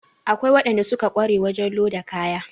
Akwai waɗanda suka ƙware wajen loda kaya